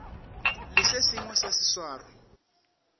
le se sengwe sa seswaro